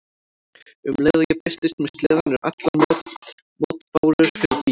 Um leið og ég birtist með sleðann eru allar mótbárur fyrir bí.